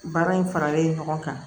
Baara in faralen ɲɔgɔn kan